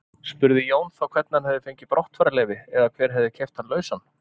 Spurði Jón þá hvernig hann hefði fengið brottfararleyfi eða hver hefði keypt hann lausan.